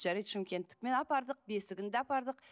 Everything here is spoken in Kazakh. жарайды шымкенттікімен апардық бесігін де апардық